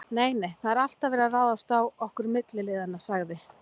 Nei, nei, það er alltaf verið að ráðast á okkur milliliðina sagði